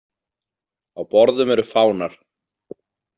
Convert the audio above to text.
Á borðum eru fánar.